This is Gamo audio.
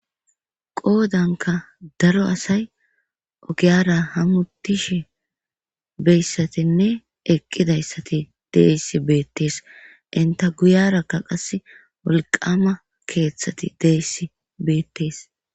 Qoodanka daro asay ogiyara hamutishi beyssatinne eqqidayssati deeyssi beettees inta guyarakka qas wolqama keeththati deyssi beettees.